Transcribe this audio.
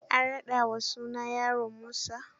An raɗa wa sunan yaron Musa.